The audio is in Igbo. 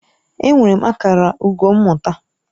Enwere m akara ugo mmụta.